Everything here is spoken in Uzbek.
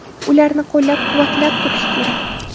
Ularni qo‘llab-quvvatlab turish kerak.